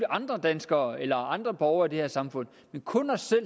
andre danskere eller andre borgere i det her samfund men kun os selv